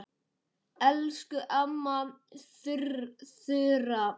Elsku amma Þura.